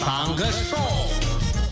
таңғы шоу